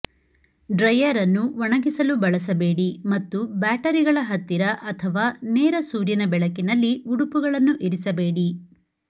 dryer ಅನ್ನು ಒಣಗಿಸಲು ಬಳಸಬೇಡಿ ಮತ್ತು ಬ್ಯಾಟರಿಗಳ ಹತ್ತಿರ ಅಥವಾ ನೇರ ಸೂರ್ಯನ ಬೆಳಕಿನಲ್ಲಿ ಉಡುಪುಗಳನ್ನು ಇರಿಸಬೇಡಿ